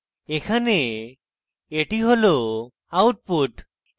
এখানে এটি হল output